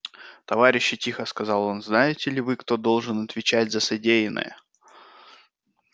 товарищи тихо сказал он знаете ли вы кто должен отвечать за содеянное